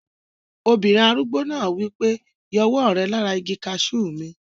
Obìnrin arúgbó náà wí pé, "yọ ọwọ́ rẹ lára igi kaasú mi!"